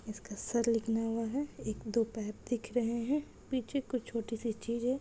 इसका सर निकलया हुआ है एक दो पैर दिख रहे है पीछे कुछ चोटी सी चीज है।